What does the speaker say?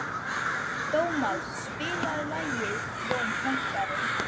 Dómald, spilaðu lagið „Jón Pönkari“.